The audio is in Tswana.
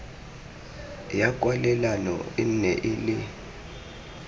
ya kwalelano e nne le